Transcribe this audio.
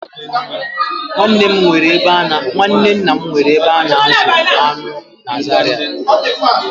Nwanne nna m nwere ebe a na-azụ aṅụ na Zaria